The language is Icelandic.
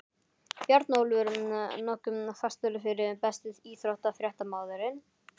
Bjarnólfur nokkuð fastur fyrir Besti íþróttafréttamaðurinn?